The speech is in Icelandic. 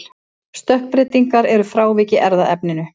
Stökkbreytingar eru frávik í erfðaefninu.